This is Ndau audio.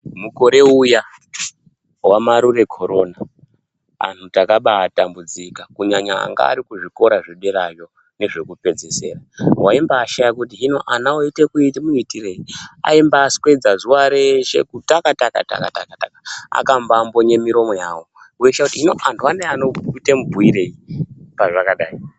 Mukore uya waMarure Corona anhu takaba atambudzika kunyanya anga ari kuzvikora zvederayo nezvekupedzesera waimbaashaya kuti vana vanoite muitirei aimbaaswedza zuwa reshe taka-taka-taka -taka akambaambonye miromo yavo weishaye kuti anhu ano anomboite mubhuyirei pazvakadai.